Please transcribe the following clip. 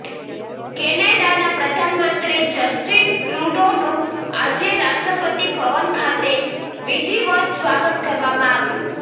કેનેડાના પ્રધાનમંત્રી જસ્ટીન ટ્રુડોનું આજે રાષ્ટ્રપતિ ભવન ખાતે વિધિવત સ્વાગત કરવામાં આવ્યું